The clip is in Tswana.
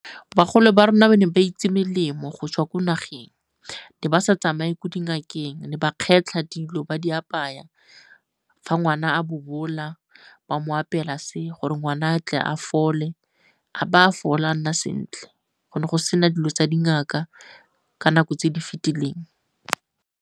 Bagolo ba rona ba ne ba itse melemo go tswa ko nageng. Ne ba sa tsamaye ko dingakeng, ne ba kgetlha dilo ba di apaya fa ngwana a bobola ba mo apela se, gore ngwana a tle a fole a ba a fola a nna sentle. Go ne go sena dilo tsa dingaka ka nako tse di fetileng.